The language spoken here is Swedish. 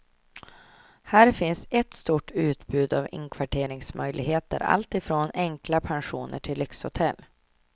Här finns sätt stort utbud av inkvarteringsmöjligheter alltifrån enkla pensioner till lyxhotell.